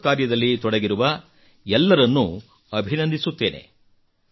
ಈ ಬೃಹತ್ ಕಾರ್ಯದಲ್ಲಿ ತೊಡಗಿರುವ ಎಲ್ಲರನ್ನೂ ಅಭಿನಂದಿಸುತ್ತೇನೆ